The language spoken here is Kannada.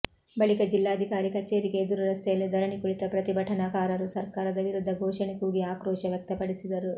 ಬಳಿಕ ಜಿಲ್ಲಾಧಿಕಾರಿ ಕಚೇರಿ ಎದುರು ರಸ್ತೆಯಲ್ಲೇ ಧರಣಿ ಕುಳಿತ ಪ್ರತಿಭಟನಾಕಾರರು ಸರ್ಕಾರದ ವಿರುದ್ಧ ಘೋಷಣೆ ಕೂಗಿ ಆಕ್ರೋಶ ವ್ಯಕ್ತಪಡಿಸಿದರು